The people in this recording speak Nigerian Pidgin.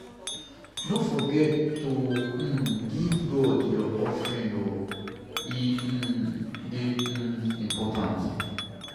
No forget to um give God your offering o, e um dey um important.